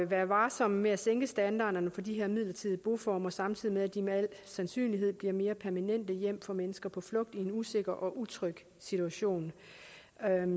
være varsomme med at sænke standarderne for de her midlertidige boformer samtidig med at de med al sandsynlighed bliver mere permanente hjem for mennesker på flugt i en usikker og utryg situation